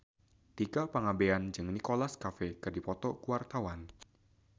Tika Pangabean jeung Nicholas Cafe keur dipoto ku wartawan